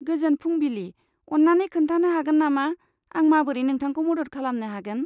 गोजोन फुंबिलि, अन्नानै खोन्थानो हागोन नामा आं माबोरै नोंथांखौ मदद खालामनो हागोन?